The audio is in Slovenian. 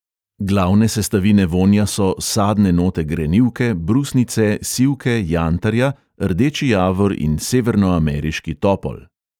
Glavne sestavine vonja so: sadne note grenivke, brusnice, sivke, jantarja, rdeči javor in severno ameriški topol.